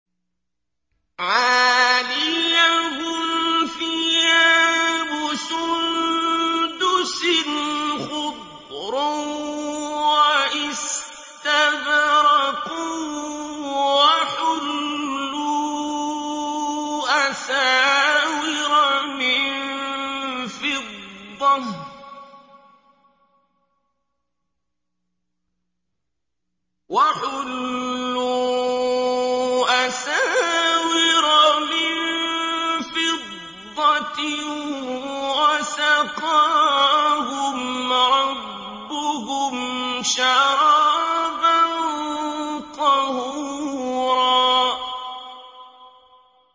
عَالِيَهُمْ ثِيَابُ سُندُسٍ خُضْرٌ وَإِسْتَبْرَقٌ ۖ وَحُلُّوا أَسَاوِرَ مِن فِضَّةٍ وَسَقَاهُمْ رَبُّهُمْ شَرَابًا طَهُورًا